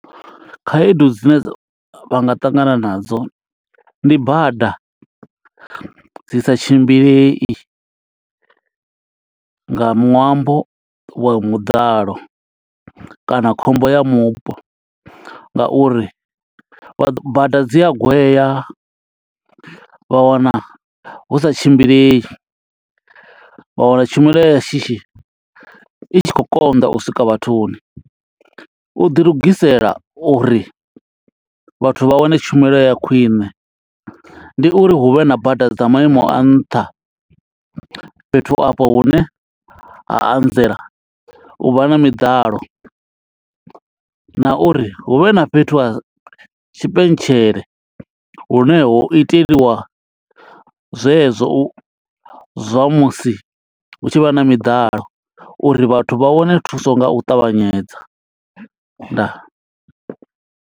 Khaedu dzine dza, vha nga ṱangana nadzo ndi bada dzi sa tshimbilei nga ṅwambo wa muḓalo kana khombo ya mupo, nga uri vha bada dzi a gwea. Vha wana hu sa tshimbilei, vha wana tshumelo ya shishi i tshi khou konḓa u swika vhathuni. U ḓi lugisela uri vhathu vha wane tshumelo ya khwiṋe, ndi uri hu vhe na bada dza maimo a nṱha fhethu afho hune ha anzela u vha na miḓalo. Na uri hu vhe na fhethu ha tshipentshele lune ho iteliwa zwe zwo zwa musi hu tshi vha na miḓalo, uri vhathu vha wane thuso nga u ṱavhanyedza. Ndaa.